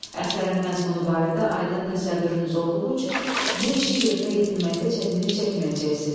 Əsərin məzmunu barədə aydın təsəvvürünüz olduğu üçün bu işi yerinə yetirməkdə çətinlik çəkməyəcəksiz.